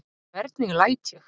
Hvernig læt ég?